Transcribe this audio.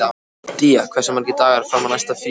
Día, hversu margir dagar fram að næsta fríi?